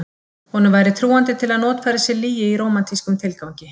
Honum væri trúandi til að notfæra sér lygi í rómantískum tilgangi.